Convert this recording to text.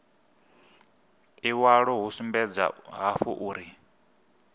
iwalo hu sumbedza hafhu uri